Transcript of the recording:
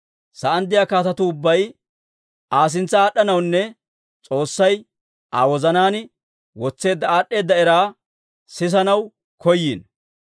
Sa'aan de'iyaa kaatetuu ubbay Aa sintsa aad'd'anawunne S'oossay Aa wozanaan wotseedda aad'd'eeda era sisanaw koyino.